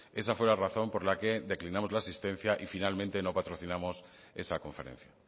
esa fue la razón por la que declinamos la asistencia y finalmente no patrocinamos esa conferencia